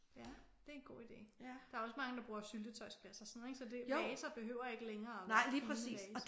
Ja. Det er en god idé. Der er også mange der bruger syltetøjsglas og sådan noget ik? Så det vaser behøver ikke længere at være fine vaser